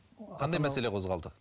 қандай мәселе қозғалды